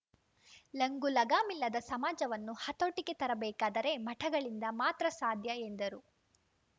ಲಂಗು ಲಗಾಮಿಲ್ಲದ ಸಮಾಜವನ್ನು ಹತೋಟಿಗೆ ತರಬೇಕಾದರೆ ಮಠಗಳಿಂದ ಮಾತ್ರ ಸಾಧ್ಯ ಎಂದರು